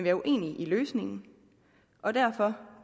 er uenige i løsningen og derfor